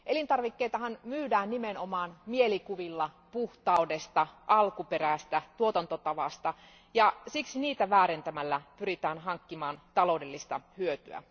Elintarvikkeitahan myydään nimenomaan mielikuvilla puhtaudesta, alkuperästä, tuotantotavasta, ja siksi niitä väärentämällä pyritään hankkimaan taloudellista hyötyä.